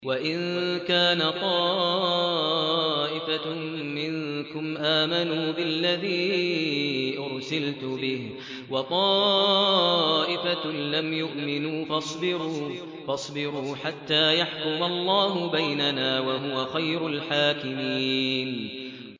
وَإِن كَانَ طَائِفَةٌ مِّنكُمْ آمَنُوا بِالَّذِي أُرْسِلْتُ بِهِ وَطَائِفَةٌ لَّمْ يُؤْمِنُوا فَاصْبِرُوا حَتَّىٰ يَحْكُمَ اللَّهُ بَيْنَنَا ۚ وَهُوَ خَيْرُ الْحَاكِمِينَ